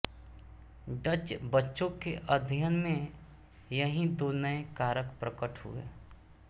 Dutch बच्चों के अध्ययन में यही दो नए कारक प्रकट हुए